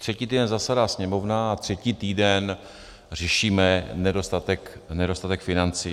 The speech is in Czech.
Třetí týden zasedá Sněmovna a třetí týden řešíme nedostatek financí.